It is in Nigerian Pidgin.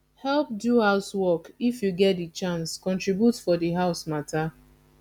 help do house work if you get di chance contribute for di house matter